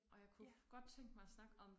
Og jeg kunne godt tænke mig at snakke om